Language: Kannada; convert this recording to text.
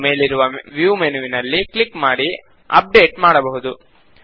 ನಾವು ಮೇಲಿರುವ ವೀವ್ ಮೆನುವಿನಲ್ಲಿ ಕ್ಲಿಕ್ ಮಾಡಿ ಅಪ್ಡೇಟ್ ಮಾಡಬಹುದು